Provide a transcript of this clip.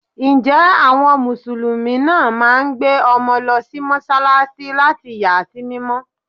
Ǹjẹ́ àwọn musulumi náà máa ń gbé ọmọ lọ sí Mọ́sálásí láti yà á sí mímọ́.